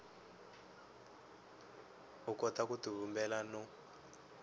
u kota ku tivumbela no